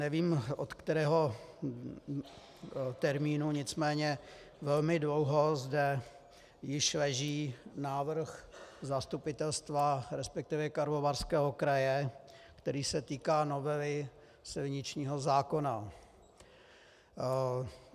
Nevím, od kterého termínu, nicméně velmi dlouho zde již leží návrh zastupitelstva, respektive Karlovarského kraje, který se týká novely silničního zákona.